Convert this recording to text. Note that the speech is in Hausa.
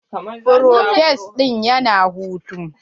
Provost ɗin ya na hutu.